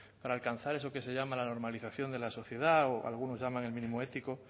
para alcanzar eso que se llama la normalización de la sociedad o algunos llaman el mínimo ético